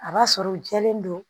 A b'a sɔrɔ u jɛlen don